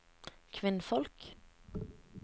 kvinnfolk